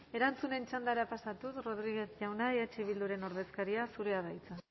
erantzunen txandara pasatuz rodriguez jauna eh bilduren ordezkaria zurea da hitza